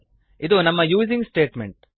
ಇದು ನಮ್ಮ using statement